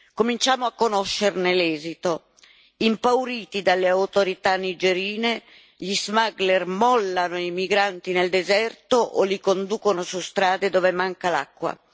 Cominciamo a conoscerne l'esito impauriti dalle autorità nigerine, gli smuggler mollano i migranti nel deserto o li conducono su strade dove manca l'acqua.